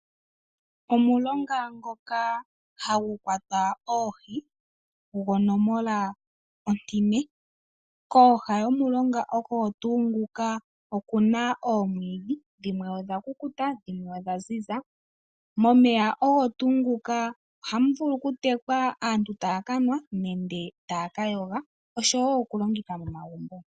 Omulonga ngoka hagu kwatwa oohi gonomola ontine. Kooha dhomulonga oho tuu nguka okuna oomwiidhi, dhimwe odha kukuta, dhimwe odha ziza. Momeya ogo tuu ngoka oha mu vulu okutekwa, aanru ta ya ka nwanenge ta ya ka yoga, oshowo okulongitha momagumbo.